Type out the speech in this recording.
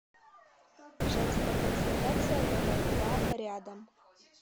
женская консультация номер два рядом